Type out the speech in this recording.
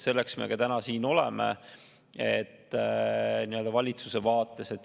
Selle pärast me täna siin ka oleme.